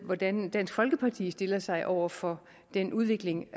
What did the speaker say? hvordan dansk folkeparti stiller sig over for den udvikling